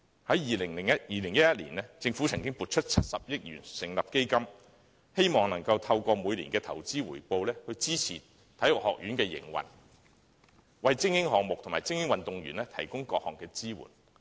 在2011年，政府曾撥出70億元成立基金，希望透過每年的投資回報，支持香港體育學院的營運，為精英項目及精英運動員提供各項支援。